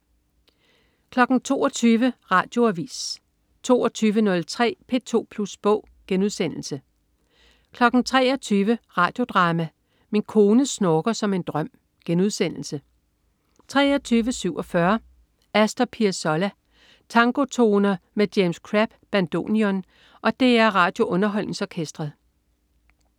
22.00 Radioavis 22.03 P2 Plus Bog* 23.00 Radio Drama: Min kone snorker som en drøm* 23.47 Astor Piazolla. Tangotoner med James Crabb, bandoneon, og DR RadioUnderholdningsOrkestret